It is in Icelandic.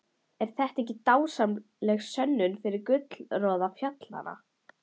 Er þetta ekki dásamleg sönnun fyrir gullroða fjallanna?